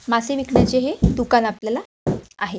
मासे विकण्याचे हे दुकान आपल्याला आहे.